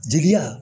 Jigiya